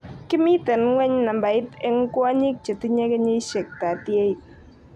Kimiten ngweny nambait eng kwonyik chetinye kenyishek 38.